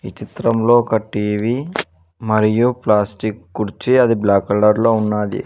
చిత్రంలో ఒక టీ_వీ మరియు ప్లాస్టిక్ కుర్చీ అది బ్లాక్ కలర్ లో ఉన్నాది.